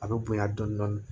A bɛ bonya dɔɔnin dɔɔnin